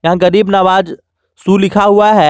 यहां गरीब नवाज शू लिखा हुआ है।